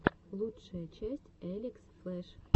лучшая часть элекс флэш